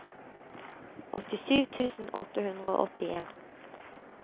åttisju tusen åtte hundre og åttien